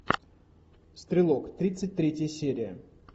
стрелок тридцать третья серия